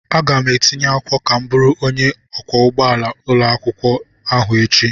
Aga m etinye akwụkwọ ka m bụrụ onye ọkwọ ụgbọala ụlọakwụkwọ ahụ echi.